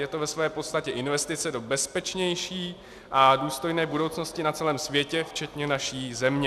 Je to ve své podstatě investice do bezpečnější a důstojné budoucnosti na celém světě včetně naší země.